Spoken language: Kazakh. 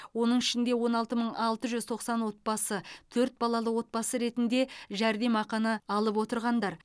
оның ішінде он алты мың алты жүз тоқсан отбасы төрт балалы отбасы ретінде жәрдемақыны алып отырғандар